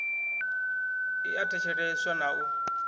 i a thetsheleswa na u